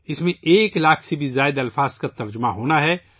اس میں ایک لاکھ سے زیادہ الفاظ کا ترجمہ ہونا ہے